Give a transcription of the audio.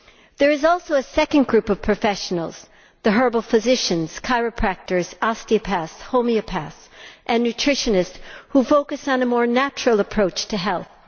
There is also a second group of professionals the herbal physicians, chiropractors, osteopaths, homeopaths and nutritionists who focus on a more natural approach to health.